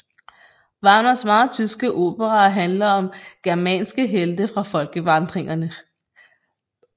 Wagners meget tyske operaer handler om germanske helte fra folkevandringerne